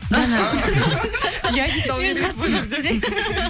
иә дей салу керек еді